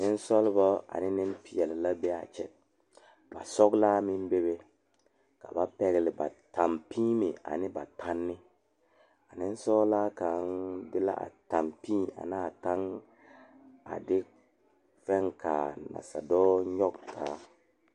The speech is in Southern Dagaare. Nensaalba yaga la bebe dɔɔba ane pɔgeba kaa pɔge kaŋ su kpare doɔre kaa dɔɔ meŋ be a ba niŋe saŋ a su Gaana falakyɛ kpare a seɛ Gaana falakyɛ kuri ka o nu bonyene a biŋ teŋa kyɛ teɛ a nu kaŋa meŋ a dɔɔ maale la pata.